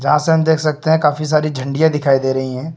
देख सकते हैं काफी सारी झंडिया दिखाई दे रही हैं।